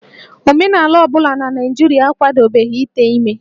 Omenala ọ bụla na Naịjirịa akwadobeghị ite ime